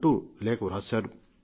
అంటూ లేఖ రాశారు